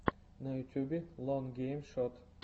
на ютьюбе лон гейм шот